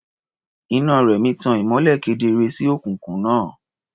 Iná Rẹ̀mí tan ìmọ́lẹ̀ kedere sí òkùnkùn náà.